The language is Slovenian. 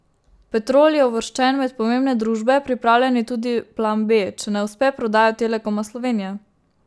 Petrol je uvrščen med pomembne družbe, pripravljen je tudi plan B, če ne uspe prodaja Telekoma Slovenije.